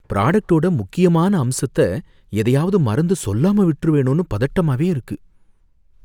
ப்ராடக்டோட முக்கியமான அம்சத்த எதையாவது மறந்து சொல்லாம விட்டுருவேனோனு பதட்டமாவே இருக்கு.